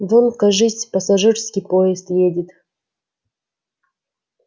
вон кажись пассажирский поезд едет